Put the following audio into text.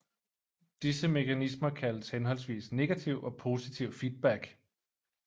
Disse mekanismer kaldes henholdsvis negativ og positiv feedback